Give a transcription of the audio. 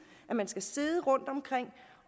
at man skal sidde rundtomkring